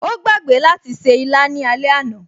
O gbàgbé láti ṣe ìlà ní alẹ́ àná